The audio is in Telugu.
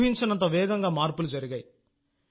ఊహించనంత వేగంగా మార్పులు జరిగాయి